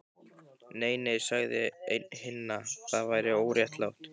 Nei, nei sagði einn hinna, það væri óréttlátt